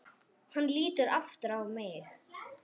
Hann lítur aftur á mig.